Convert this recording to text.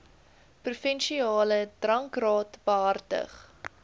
provinsiale drankraad behartig